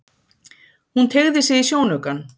Hún teygði sig í sjónaukann.